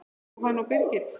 Jóhanna og Birgir.